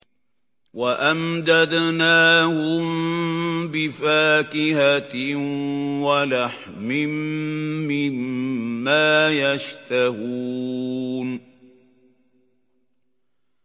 وَأَمْدَدْنَاهُم بِفَاكِهَةٍ وَلَحْمٍ مِّمَّا يَشْتَهُونَ